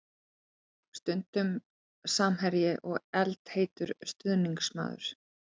Stundum samherji og eldheitur stuðningsmaður.